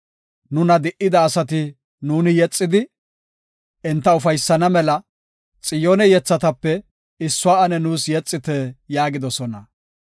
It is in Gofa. Nuna di77ida asati nuuni yexidi, enta ufaysana mela “Xiyoone yethatape issuwa ane nuus yexite” yaagidosona.